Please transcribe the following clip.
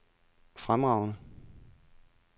fremragende